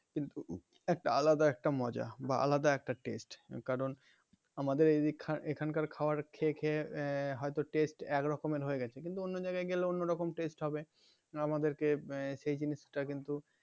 কিন্তু একটা আলাদা একটা মজা বা আলাদা একটা test কারণ আমাদের এদিক এখানকার খাবার খেয়ে খেয়ে হয়তো test একরকমের হয়ে গেছে কিন্তু অন্য জায়গায় গেলে অন্য রকম test হবে আমাদেরকে সেই জিনিসটা কিন্তু